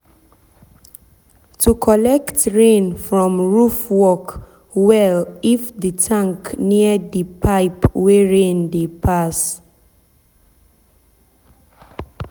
to collect rain from roof work well if the tank near the pipe wey rain dey pass.